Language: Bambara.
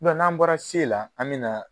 n'an bɔra S la an bɛ na.